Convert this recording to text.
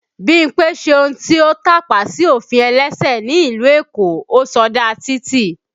Bímpé ṣe ohun tí ó tàpá sí ofin ẹlẹ́sẹ̀ ni ìlú Èkó, ó sọdá títì